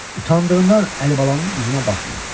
Utandığından Əlibalanın üzünə baxmırdı.